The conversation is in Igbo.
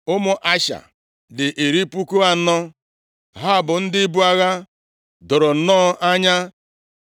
Ụmụ Asha dị iri puku anọ (40,000). Ha bụ ndị ibu agha doro nnọọ anya.